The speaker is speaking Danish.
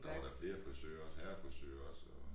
Der var da flere frisører herrerfrisører også og